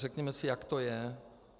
Řekněme si, jak to je.